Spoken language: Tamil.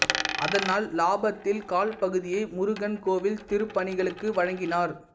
அதனால் லாபத்தில் கால் பகுதியை முருகன் கோவில் திருப்பணிகளுக்கு வழங்கினார்